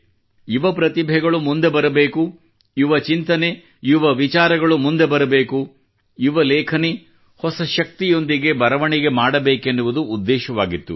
ಯುವ ಪ್ರತಿಭೆಗಳು ಮುಂದೆ ಬರಬೇಕು ಯುವಚಿಂತನೆ ಯುವ ವಿಚಾರಗಳು ಮುಂದೆ ಬರಬೇಕು ಯುವಲೇಖನಿ ಹೊಸ ಶಕ್ತಿಯೊಂದಿಗೆ ಬರವಣಿಗೆ ಮಾಡಬೇಕೆನ್ನುವುದು ಉದ್ದೇಶವಾಗಿತ್ತು